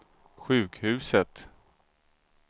sjukhuset